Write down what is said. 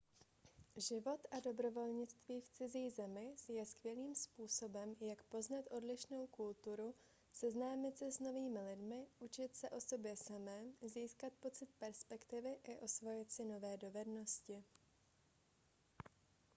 život a dobrovolnictví v cizí zemi je skvělým způsobem jak poznat odlišnou kulturu seznámit se s novými lidmi učit se o sobě samém získat pocit perspektivy i osvojit si nové dovednosti